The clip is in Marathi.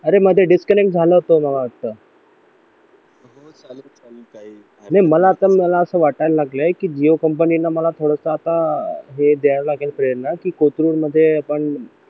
अरे मध्ये डिस्कनेक्ट झालं होतं मला वाटतं नाही मला मला असं वाटायला लागला विवो कंपनीने मला मला थोडासा आता हे द्यायला लागेल प्रेरणा की कोथरूड मध्ये आपण